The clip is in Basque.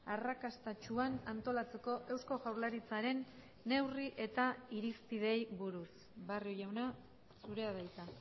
arrakastatsuan antolatzeko eusko jaurlaritzaren neurri eta irizpideei buruz barrio jauna zurea da hitza